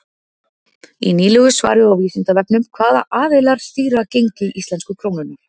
Í nýlegu svari á Vísindavefnum Hvaða aðilar stýra gengi íslensku krónunnar?